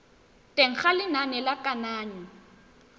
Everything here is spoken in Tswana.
teng ga lenane la kananyo